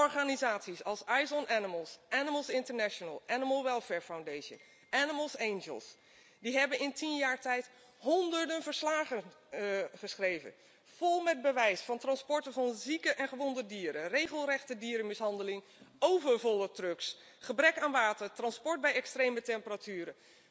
Organisaties als Eyes on Animals Animals International Animal Welfare Foundation Animals' Angels hebben in tien jaar tijd honderden verslagen geschreven vol met bewijs van transporten van zieke en gewonde dieren, regelrechte dierenmishandeling, overvolle trucks, gebrek aan water, transport bij extreme temperaturen.